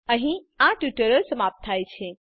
અહીં આ ટ્યુટોરીયલ સમાપ્ત થાય છે